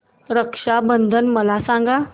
रक्षा बंधन मला सांगा